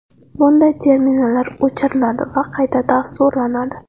Bunday terminallar o‘chiriladi va qayta dasturlanadi.